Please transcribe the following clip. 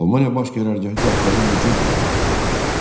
Almaniya Baş Qərargahı Qafqaza hücum planı hazırlamışdı.